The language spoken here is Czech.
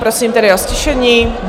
Prosím tedy o ztišení.